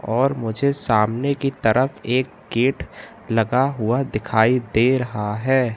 और मुझे सामने की तरफ एक गेट लगा हुआ दिखाई दे रहा है।